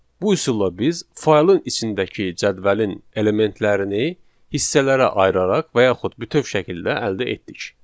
Bu üsulla biz faylın içindəki cədvəlin elementlərini hissələrə ayıraraq və yaxud bütöv şəkildə əldə etdik.